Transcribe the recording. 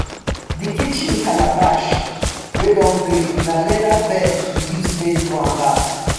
di kitchen calabash wey don break na leather belt we use take do am back